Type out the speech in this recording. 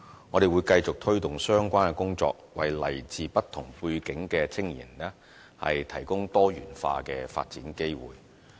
我們會繼續推動相關工作，為來自不同背景的青年人提供多元化的發展機會。